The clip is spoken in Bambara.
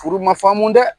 Furu ma faamu dɛ